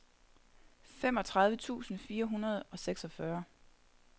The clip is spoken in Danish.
femogtredive tusind fire hundrede og seksogfyrre